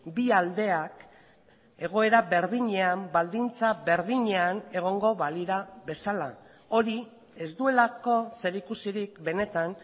bi aldeak egoera berdinean baldintza berdinean egongo balira bezala hori ez duelako zerikusirik benetan